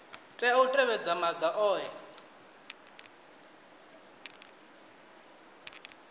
tea u tevhedza maga ohe